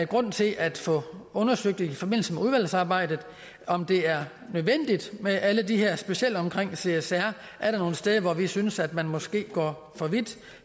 grund til at få undersøgt i forbindelse med udvalgsarbejdet om det er nødvendigt med alt det her specielt omkring csr er der nogle steder hvor vi synes at man måske går for vidt